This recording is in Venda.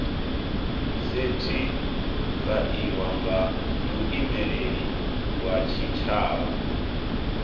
sethifaiwa nga muimeli wa tshitshavha